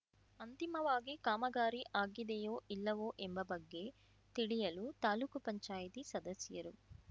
ಅಂತಿಮವಾಗಿ ಕಾಮಗಾರಿ ಆಗಿದೆಯೋ ಇಲ್ಲವೋ ಎಂಬ ಬಗ್ಗೆ ತಿಳಿಯಲು ತಾಲೂಕುಪಂಚಾಯ್ತಿ ಸದಸ್ಯರು